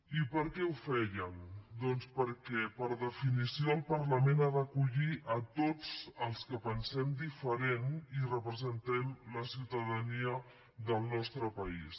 i per què ho feien doncs perquè per definició el parlament ha d’acollir a tots els que pensem diferent i representem la ciutadania del nostre país